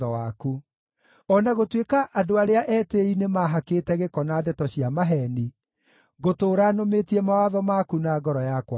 O na gũtuĩka andũ arĩa etĩĩi nĩmahakĩte gĩko na ndeto cia maheeni, ngũtũũra nũmĩtie mawatho maku na ngoro yakwa yothe.